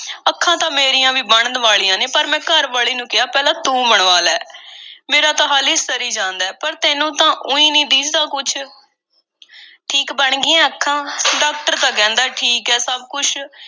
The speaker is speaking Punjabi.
ਅੱਖਾਂ ਤਾਂ ਮੇਰੀਆਂ ਵੀ ਬਣਨ ਵਾਲੀਆਂ ਨੇ ਪਰ ਮੈਂ ਘਰਵਾਲੀ ਨੂੰ ਕਿਹਾ, ਪਹਿਲਾਂ ਤੂੰ ਬਣਵਾ ਲੈ, ਮੇਰਾ ਤਾਂ ਹਾਲੀਂ ਸਰੀ ਜਾਂਦਾ ਏ, ਪਰ ਤੈਨੂੰ ਤਾਂ ਊਈਂ ਨਹੀਂ ਦੀਂਹਦਾ ਕੁਛ। ਠੀਕ ਬਣ ਗਈਆਂ ਅੱਖਾਂ? ਡਾਕਦਾਰ ਤਾਂ ਕਹਿੰਦੈ ਠੀਕ ਐ, ਸਭ ਕੁਛ।